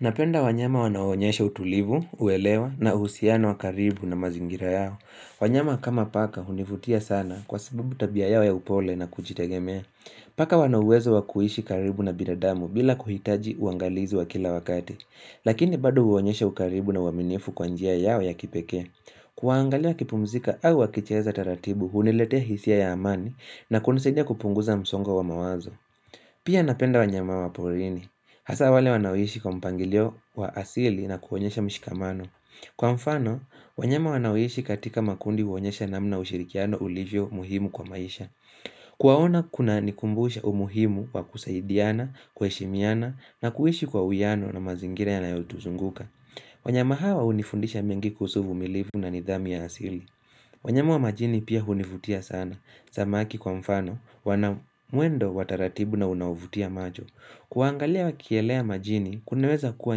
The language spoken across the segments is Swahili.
Napenda wanyama wanao onyesha utulivu, uelewa na uhusiano wa karibu na mazingira yao. Wanyama kama paka hunivutia sana kwa sababu tabia yao ya upole na kujitegemea. Paka wana uwezo wa kuishi karibu na bidadamu bila kuhitaji uangalizi wa kila wakati. Lakini bado huonyesha ukaribu na uaminifu kwa njia yao ya kipekee. Kuwangalia wakipumzika au wakicheza taratibu huniletea hisia ya amani na kunisidia kupunguza msongo wa mawazo. Pia napenda wanyama wa porini. Hasa wale wanaoishi kwa mpangilio wa asili na kuonyesha mshikamano Kwa mfano, wanyama wanaoishi katika makundi huonyesha namna ushirikiano ulivyo muhimu kwa maisha Kuwaona kunanikumbusha umuhimu wa kusaidiana, kuheshimiana na kuishi kwa uiano na mazingira yanayotuzunguka wanyama hawa hunifundisha mengi kuhusu uvumilivu na nidhamu ya asili wanyama wa majini pia hunivutia sana samaki kwa mfano, wana mwendo wa taratibu na unaovutia macho Kuwaangalia wakielea majini, kunaweza kuwa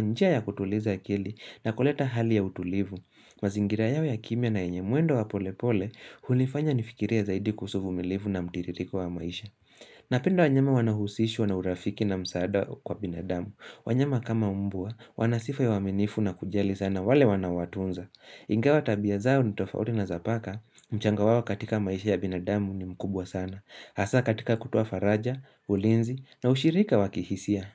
njia ya kutuliza akili na kuleta hali ya utulivu mazingira yao ya kimya na yenye mwendo wa polepole, hunifanya nifikirie zaidi kuhusu uvmilivu na mtiririko wa maisha Napenda wanyama wanao husishwa na urafiki na msaada kwa binadamu wanyama kama mbwa, wana sifa ya uaminifu na kujali sana wale wanaowatunza Ingawa tabia zao ni tofauti na za paka, mchango wao katika maisha ya binadamu ni mkubwa sana Hasa katika kutoa faraja, ulinzi na ushirika wa kihisia.